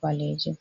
ɓaleejum.